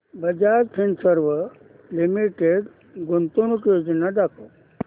Bajaj Finserv limited गुंतवणूक योजना दाखव